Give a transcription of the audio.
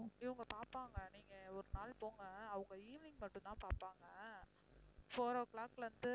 இவங்க பாப்பாங்க நீங்க ஒரு நாள் போங்க அவங்க evening மட்டும் தான் பாப்பாங்க four o'clock ல இருந்து